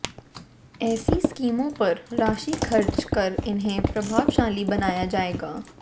ऐसी स्कीमों पर राशि खर्च कर इन्हें प्रभावशाली बनाया जाएगा